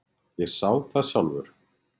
Ég sá það sjálfur!